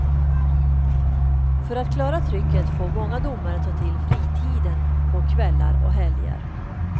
För att klara trycket får många domare ta till fritiden på kvällar och helger.